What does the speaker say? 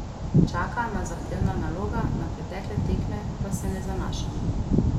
Čaka nas zahtevna naloga, na pretekle tekme pa se ne zanašamo.